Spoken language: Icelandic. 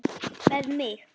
Með mig?